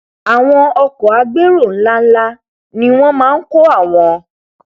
àwọn ọkọ agbérò nlá nlá ni wọn máa nkó àwọn